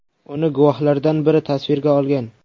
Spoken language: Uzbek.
Uni guvohlardan biri tasvirga olgan.